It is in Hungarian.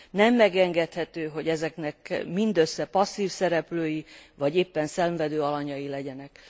Nem megengedhető, hogy ezeknek mindössze passzív szereplői vagy éppen szenvedő alanyai legyenek.